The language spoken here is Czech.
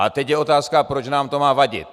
A teď je otázka, proč nám to má vadit.